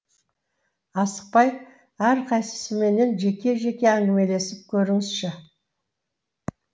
асықпай әрқайсысымен жеке жеке әңгімелесіп көріңізші